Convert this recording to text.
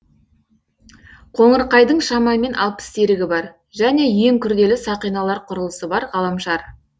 қоңырқайдың шамамен алпыс серігі бар және ең күрделі сақиналар құрылысы бар ғаламшар